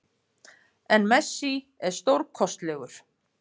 En Messi er stórkostlegur